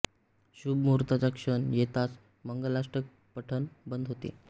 शुभ मुहूर्ताचा क्षण येताच मंगलाष्टक पठन बंद होते